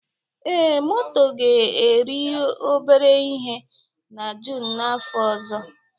Ee, moto ga-eri obere ihe na June n'afọ ọzọ